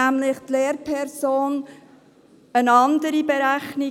Denn die Lehrperson hat nämlich eine andere Berechnung: